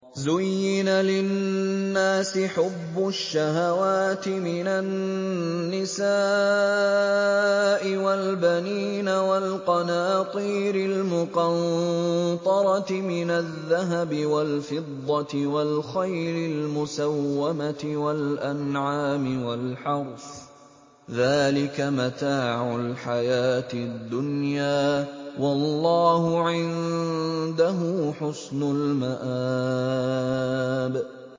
زُيِّنَ لِلنَّاسِ حُبُّ الشَّهَوَاتِ مِنَ النِّسَاءِ وَالْبَنِينَ وَالْقَنَاطِيرِ الْمُقَنطَرَةِ مِنَ الذَّهَبِ وَالْفِضَّةِ وَالْخَيْلِ الْمُسَوَّمَةِ وَالْأَنْعَامِ وَالْحَرْثِ ۗ ذَٰلِكَ مَتَاعُ الْحَيَاةِ الدُّنْيَا ۖ وَاللَّهُ عِندَهُ حُسْنُ الْمَآبِ